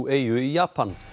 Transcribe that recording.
eyju í Japan